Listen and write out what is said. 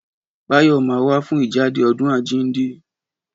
Báyò ma wá fún ìjáde ọdún àjínde